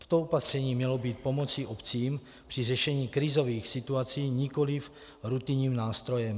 Toto opatření mělo být pomocí obcím při řešení krizových situací, nikoliv rutinním nástrojem.